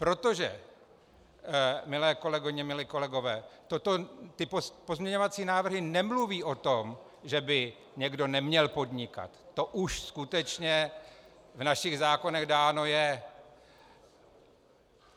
Protože, milé kolegyně, milí kolegové, ty pozměňovací návrhy nemluví o tom, že by někdo neměl podnikat, to už skutečně v našich zákonech dáno je.